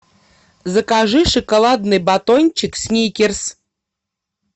закажи шоколадный батончик сникерс